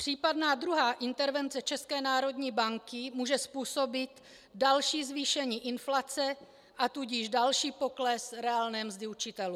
Případná druhá intervence České národní banky může způsobit další zvýšení inflace, a tudíž další pokles reálné mzdy učitelů.